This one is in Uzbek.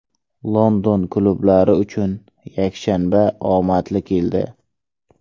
London klublari uchun yakshanba omadli keldi.